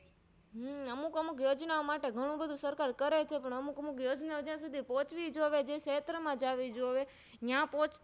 હમ અમુક અમુક યોજના ઓમાટે ગણું બધું સરકાર કરે છે પણ અમુક અમુક યોજનાઓ પોહ્ચવી જોઈએ જે ક્ષેત્ર માં જાવી જોઈએ નયા પોચતી